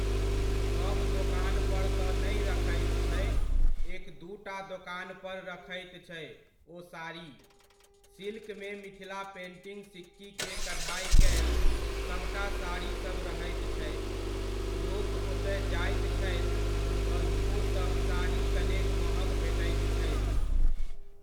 सभ दोकानपर तऽ नहि रखैत छै, एक दूटा दोकानपर रखैत छै ओ साड़ी, सिल्कमे मिथिला पेन्टिङ्ग सिक्कीके कढ़ाइ कयल सभटा साड़ीसभ रहैत छै। लोकओतय जाइत छथि तऽ ओसभ साड़ी कनेक महग भेटैत छै।